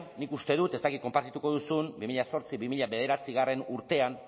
nik uste dut ez dakit konpartituko duzun bi mila zortzi bi mila bederatzigarrena urtean